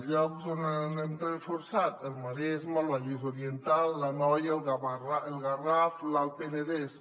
llocs que s’han reforçat el maresme el vallès oriental l’anoia el garraf l’alt penedès